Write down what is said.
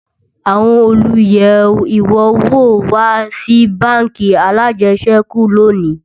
àwọn olú yé iwọ wò wà Si bánkì alàjesèkú lóni